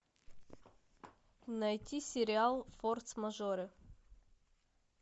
найти сериал форс мажоры